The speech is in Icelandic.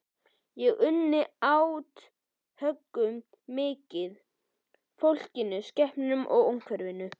Ég unni átthögunum mikið, fólkinu, skepnunum og umhverfinu.